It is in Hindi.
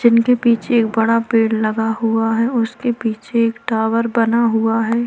जिनके के पीछे एक बड़ा पेड़ लगा हुआ है उसके पीछे एक टावर बना हुआ है।